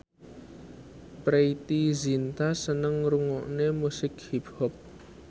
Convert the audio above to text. Preity Zinta seneng ngrungokne musik hip hop